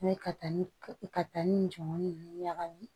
N'o ye ka taa ni ka taa ni jɔnmɔn ninnu ɲagamin